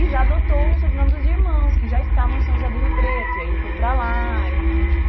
E já adotou o sobrenome dos irmãos, que já estavam em São José do Rio Preto, e aí ele foi para lá, e enfim.